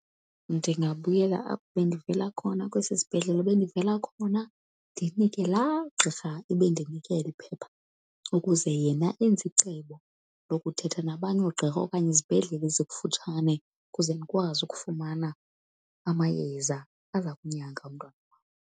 Ndingabuyela apho bendivela khona kwesi sibhedlela bendivela khona ndinike laa gqirha ebendinike eli phepha, ukuze yena enze icebo lokuthetha nabanye oogqirha okanye izibhedlele ezikufutshane ukuze ndikwazi ukufumana amayeza aza kunyanga umntwana wam.